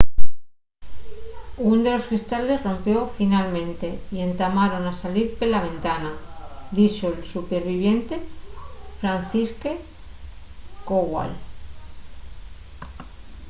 ún de los cristales rompió finalmente y entamaron a salir pela ventana” dixo’l superviviente fanciszek kowal